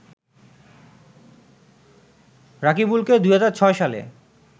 রাকিবুলকে ২০০৬ সালে